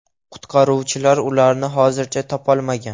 Qutqaruvchilar ularni hozircha topolmagan.